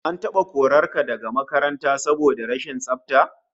An taba korar ka daga makaranta saboda rashin tsafta?